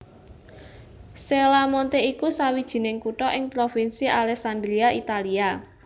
Cella Monte iku sawijining kutha ing Provinsi Alessandria Italia